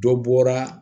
Dɔ bɔra